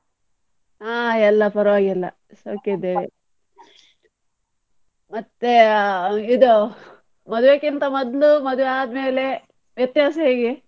ಹಾ ಎಲ್ಲ ಪರ್ವಾಗಿಲ್ಲ, ಸೌಖ್ಯ ಇದ್ದೇವೆ ಮತ್ತೆ ಆ ಇದು ಮದುವೆಕ್ಕಿಂತ ಮೊದ್ಲು ಮದುವೆ ಆದ್ಮೇಲೆ ವ್ಯತ್ಯಾಸ ಹೇಗೆ?